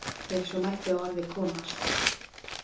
Ef svo mætti að orði komast.